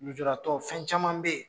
Lujuratɔ fɛn camab be yen?.